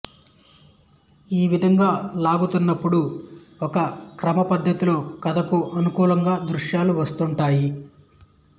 ఈ విధంగా లాగుతున్నపుడు ఒక క్రమపద్ధతిలో కథకు అనుకూలంగా దృశ్యాలు వస్తుంటాయి